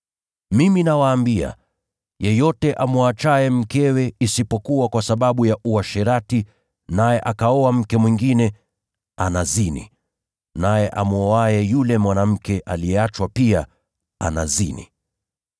Mimi nawaambia, yeyote amwachaye mkewe isipokuwa kwa sababu ya uasherati naye akaoa mke mwingine, anazini. Naye amwoaye yule mwanamke aliyeachwa pia anazini.”